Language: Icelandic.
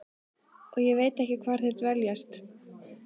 Og ég veit ekki hvar þeir dveljast.